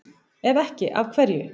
Ef ekki, af hverju?